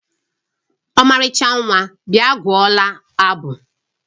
Ọmarịcha nwa, bịa gụọla abụ!